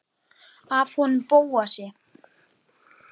Af honum Bóasi?